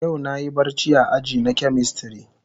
Yau na Yi barci a aji na chemistry.